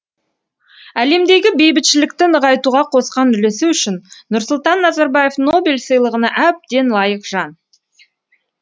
әлемдегі бейбітшілікті нығайтуға қосқан үлесі үшін нұрсұлтан назарбаев нобель сыйлығына әбден лайық жан